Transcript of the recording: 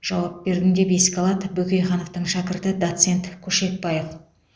жауап бердім деп еске алды бөкейхановтың шәкірті доцент көшекбаев